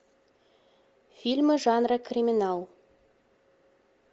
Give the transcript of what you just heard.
фильмы жанра криминал